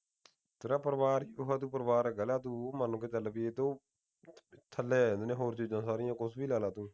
ਥੱਲੇ ਆ ਜਾਂਦਾ ਹੋਰ ਚੀਜ਼ਾਂ ਸਾਰੀਆਂ ਕੁਝ ਵੀ ਲਾ ਲਾ ਤੂੰ